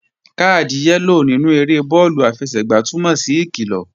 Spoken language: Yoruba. Káàdì yẹ́lò nínú eré bọ́ọ̀lù àfẹsẹ̀gbá túnmọ̀ sí ìkilọ̀